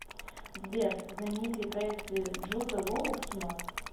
сбер знаменитые проекты джуда лоу в кино